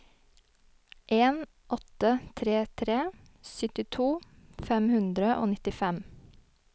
en åtte tre tre syttito fem hundre og nittifem